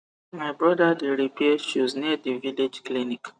my brother de repair shoes near the village clinic